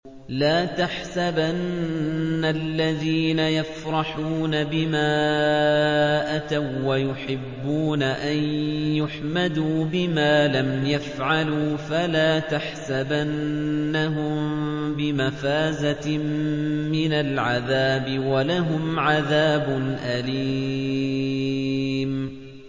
لَا تَحْسَبَنَّ الَّذِينَ يَفْرَحُونَ بِمَا أَتَوا وَّيُحِبُّونَ أَن يُحْمَدُوا بِمَا لَمْ يَفْعَلُوا فَلَا تَحْسَبَنَّهُم بِمَفَازَةٍ مِّنَ الْعَذَابِ ۖ وَلَهُمْ عَذَابٌ أَلِيمٌ